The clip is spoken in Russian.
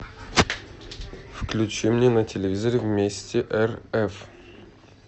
включи мне на телевизоре вместе рф